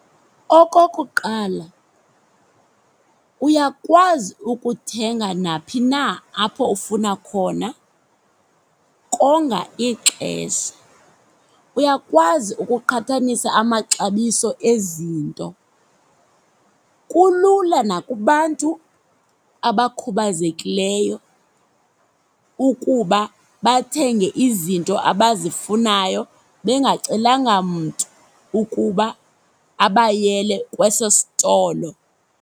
Okokuqala, uyakwazi ukuthenga naphi na apho ufuna khona, konga ixesha. Uyakwazi ukuqhathanisa amaxabiso ezinto. Kulula nakubantu abakhubazekileyo ukuba bathenge izinto abazifunayo bengacelanga mntu ukuba abayele kweso stolo.